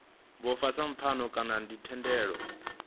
vhofha sa pfano kana thendelano